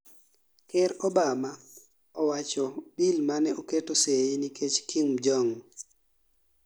Ker Obama owachoni bil mane oketo seyi nikech Kim Jong